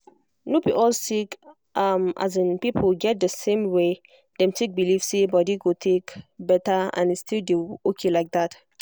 no be all sick people get the same way dem take believe say body go take better and e still dey okay like that.